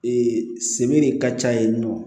Ee sebe de ka ca yen nɔ